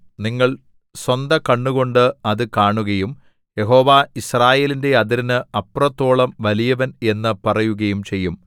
നിങ്ങൾ സ്വന്ത കണ്ണുകൊണ്ട് അത് കാണുകയും യഹോവ യിസ്രായേലിന്റെ അതിരിന് അപ്പുറത്തോളം വലിയവൻ എന്നു പറയുകയും ചെയ്യും